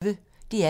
DR P1